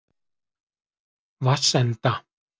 Vatnsenda